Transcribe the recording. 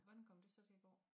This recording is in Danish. Hvordan kommer det så til at gå